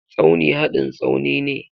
Tsauni hadin Tsaunine.